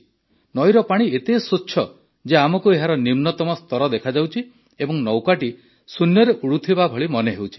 ନଈର ପାଣି ଏତେ ସ୍ୱଚ୍ଛ ଯେ ଆମକୁ ଏହାର ନିମ୍ନତମ ସ୍ତର ଦେଖାଯାଉଛି ଏବଂ ନୌକାଟି ଶୂନ୍ୟରେ ଉଡ଼ୁଥିବା ଭଳି ମନେ ହେଉଛି